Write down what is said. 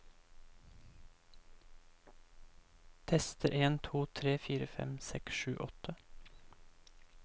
Tester en to tre fire fem seks sju åtte